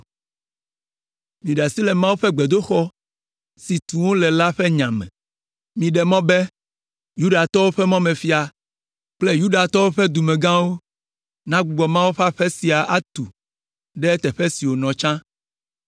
Miɖe asi le Mawu ƒe gbedoxɔ si tum wole la ƒe nya me. Miɖe mɔ be Yudatɔwo ƒe mɔmefia kple Yudatɔwo ƒe dumegãwo nagbugbɔ Mawu ƒe aƒe sia atu ɖe teƒe si wònɔ tsã.